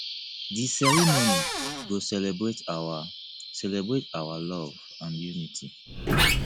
di ceremony go celebrate our celebrate our love and unity